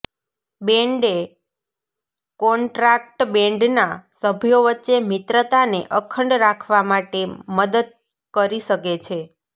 બેન્ડે contract બેન્ડના સભ્યો વચ્ચે મિત્રતાને અખંડ રાખવા માટે મદદ કરી શકે છે